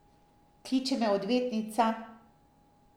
Kliče me odvetnica.